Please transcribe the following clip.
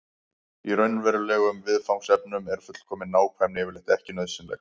í raunverulegum viðfangsefnum er fullkomin nákvæmni yfirleitt ekki nauðsynleg